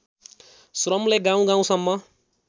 श्रमले गाउँ गाउँसम्म